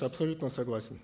абсолютно согласен